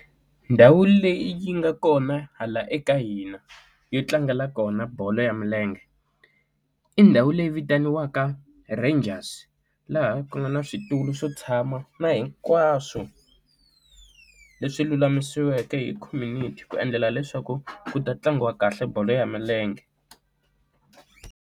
Ndhawu leyi yi nga kona hala eka hina yo tlangela kona bolo ya milenge i ndhawu leyi vitaniwaka Rangers laha ku nga na switulu swo tshama na hinkwaswo leswi lulamisiweke hi community ku endlela leswaku ku ta tlangiwa kahle bolo ya milenge.